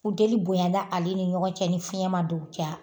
Funteli bonya na ale ni ɲɔgɔn cɛ ni fiyɛn ma don cɛ wa?